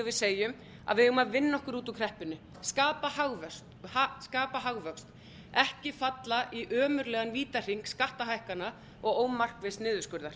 að við eigum að vinna okkur út úr kreppunni skapa hagvöxt ekki falla í ömurlegan vítahring skattahækkana og ómarkviss niðurskurðar